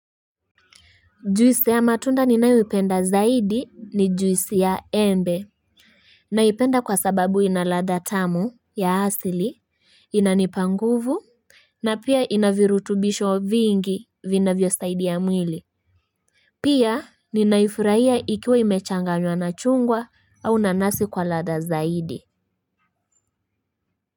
Juisi ya matunda ninaowipenda zaidi ni juisi ya embe. Naipenda kwa sababu ina ladha tamu ya asili inanipa nguvu. Na pia inavirutubisho vingi vinavyo saidiya mwili. Pia ninaifurahia ikiwa imechanganywa na chungwa au nanasi kwa lada zaidi.